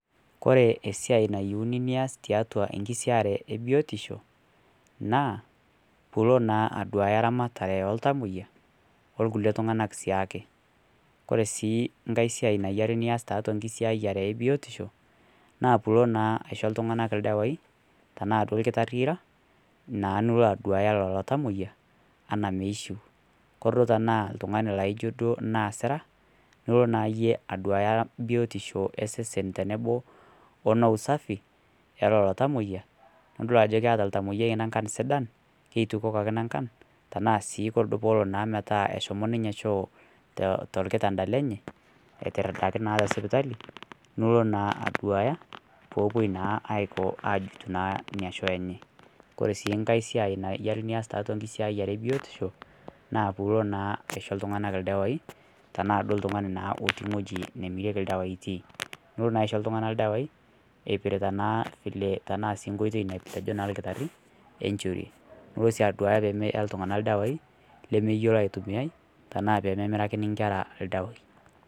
kore eisia nayeuni nias tiatua enkisiayare e biotisho naa piilo naa aduaya ramatare ee ltamoya oo lkulie tunganak siake kore sii nghai siai nayari nias taatua nkisiayare e biotisho naa piilo naa aisho ltunganak ldawai tanaa duo lkitarii iraa naa nilo aduaya lolo tamoya anaa meishiu kore duo tanaa ltungani laijo duo naa siraa nilo naa yie aduaya biotishoo ee sesen tonoboo ono usafii elolo tamoiya nidol ajo keata ltamoiyai nankan sidan keitukokaki nankan tanaa sii kore duo poolo naa metaa eshomo ninye choo tolkitanda lenye aitirdaki naa te sipitalii nulo naa aduaya poopuo naa aiko ajut naa inia choo enyee kore sii ng'ai siai nayeri nias taatua nkiasiayare ee bitisho naa piilo naa aisho ltunganak ldawai tanaa duo ltungani naa loti nghojii nimiriekii ldawai itii nilo naa aisho ltungana ldawai eipirita naa vile tanaa sii nkoitei natejoo naa lkitarii enshorie, nilo sii aduaya pemeyaa ltungana ldawai lemeyeloo aitumiayai tanaa pememirakini nkera ldawai